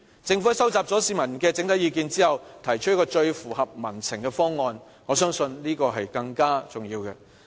政府收集了市民的整體意見之後，提出一個最符合民情的方案，我相信這是更重要的。